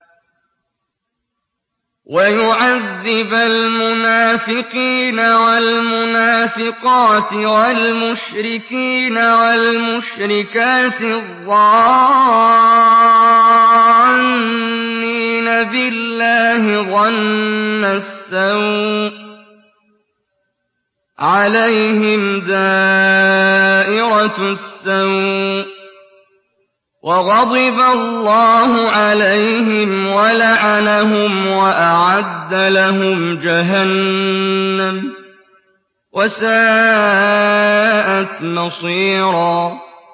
وَيُعَذِّبَ الْمُنَافِقِينَ وَالْمُنَافِقَاتِ وَالْمُشْرِكِينَ وَالْمُشْرِكَاتِ الظَّانِّينَ بِاللَّهِ ظَنَّ السَّوْءِ ۚ عَلَيْهِمْ دَائِرَةُ السَّوْءِ ۖ وَغَضِبَ اللَّهُ عَلَيْهِمْ وَلَعَنَهُمْ وَأَعَدَّ لَهُمْ جَهَنَّمَ ۖ وَسَاءَتْ مَصِيرًا